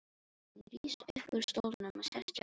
Hann rís upp úr stólnum og sest hjá henni.